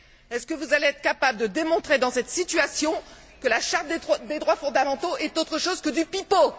Allez vous être capable de démontrer, dans cette situation, que la Charte des droits fondamentaux est autre chose que du pipeau?